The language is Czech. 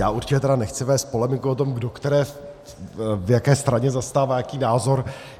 Já určitě tedy nechci vést polemiku o tom, kdo které v jaké straně zastává jaký názor.